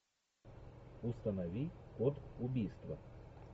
установи код убийства